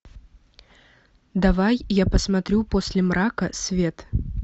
давай я посмотрю после мрака свет